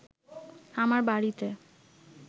আমার বাড়িতে